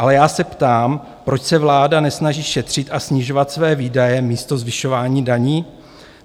Ale já se ptám, proč se vláda nesnaží šetřit a snižovat své výdaje místo zvyšování daní?